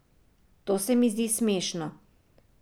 To se mi zdi smešno.